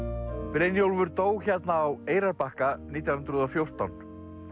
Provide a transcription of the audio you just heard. Brynjólfur dó hérna á Eyrarbakka nítján hundruð og fjórtán